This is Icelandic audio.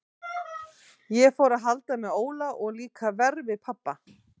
Ég fór að halda með Óla og líka verr við pabba.